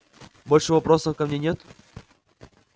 больше вопросов ко мне нет